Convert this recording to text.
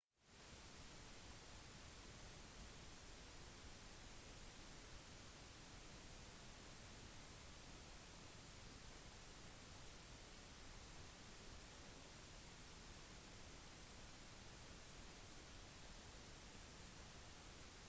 ozelotene liker å spise smådyr de fanger aper slanger gnagere og til og med fugler om de kan nesten alle dyrene som ozelotene jakter på er mye mindre enn de er